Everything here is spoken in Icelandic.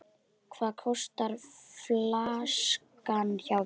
Hvað kostar flaskan hjá þér?